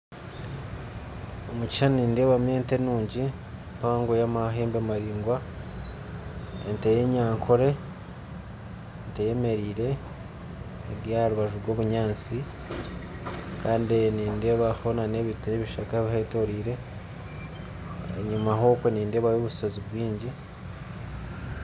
Omu kishuushani nindeebamu ente nungi mpango y'amahembe maraingwa ente y'enyankore eyemereire eri aharubaju rw'obunyatsi kandi nindeebaho n'ebiti ebishaaka bihetorire enyima okwe nindeebayo obushoozi bwingi